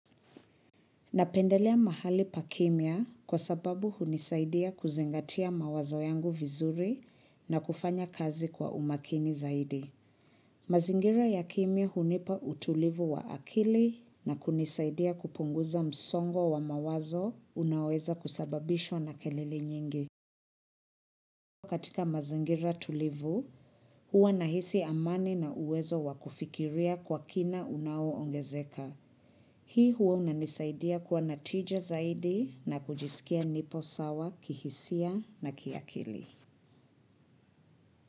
Napendelea mahali pa kimia kwa sababu hunisaidia kuzingatia mawazo yangu vizuri na kufanya kazi kwa umakini zaidi. Mazingira ya kimia hunipa utulivu wa akili na kunisaidia kupunguza msongwa wa mawazo unaweza kusababishwa na kelele nyingi. Kwa katika mazingira tulivu, huwa nahisi amani na uwezo wakufikiria kwa kina unao ongezeka. Hii huwa unanisaidia kuwa natija zaidi na kujisikia nipo sawa, kihisia na kiakili.